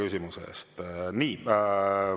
Nii.